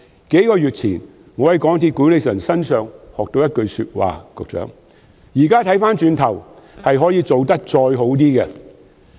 我在數月前從港鐵公司管理層身上學到一句說話："如今回首一看，可以做得較好。